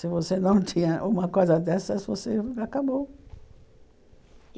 Se você não tinha uma coisa dessas, você acabou.